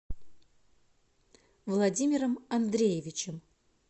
владимиром андреевичем